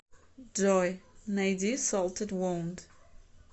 джой найди солтед воунд